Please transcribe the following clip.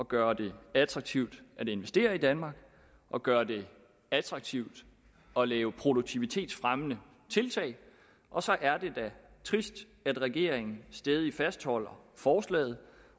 gøre det attraktivt at investere i danmark og gøre det attraktivt at lave produktivitetsfremmende tiltag og så er det da trist at regeringen stædigt fastholder forslaget